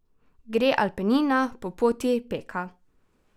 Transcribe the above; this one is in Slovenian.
Gre Alpina po poti Peka?